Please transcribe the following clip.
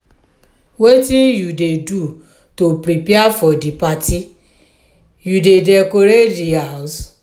wetin you dey do to prepare for di party you dey decorate di house?